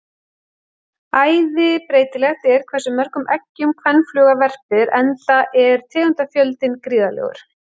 Æði breytilegt er hversu mörgum eggjum kvenfluga verpir enda er tegundafjöldinn gríðarlegur.